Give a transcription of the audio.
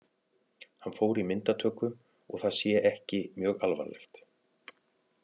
Hann fór í myndatöku og það sé ekki mjög alvarlegt.